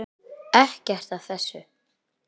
Ekkert af þessu.